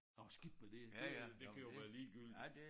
Nåh skidt med det det øh det kan jo være ligegyldigt